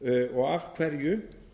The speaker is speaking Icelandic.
og af hverju